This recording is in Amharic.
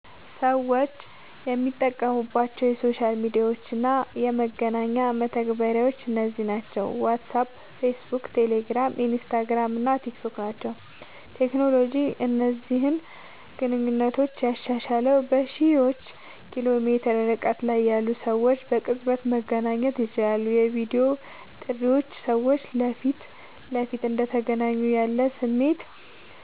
ሰዎች የሚጠቀሙባቸው የሶሻል ሚዲያ እና የመገናኛ መተግበሪያዎች እነዚህ ናቸው፦ ዋትስአፕ፣ ፌስቡክ፣ ቴሌግራም፣ ኢንስታግራም እና ቲክታክ ናቸዉ።.ቴክኖሎጂ እነዚህን ግንኙነቶች ያሻሻለዉ፦ በሺዎች ኪሎ ሜትር ርቀት ላይ ያሉ ሰዎች በቅጽበት መገናኘት ይችላሉ። የቪዲዮ ጥሪዎች ሰዎች ፊት ለፊት እንደተገናኙ ያለ ስሜት